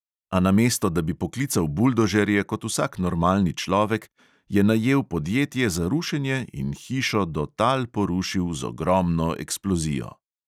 A namesto, da bi poklical buldožerje kot vsak normalni človek, je najel podjetje za rušenje in hišo do tal porušil z ogromno eksplozijo.